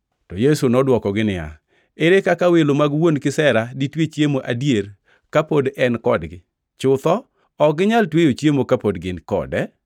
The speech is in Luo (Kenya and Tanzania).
To Yesu nodwokogi niya, “Ere kaka welo mag wuon kisera ditwe chiemo adier ka pod en kodgi?” Chutho, ok ginyal tweyo chiemo kapod gin kode.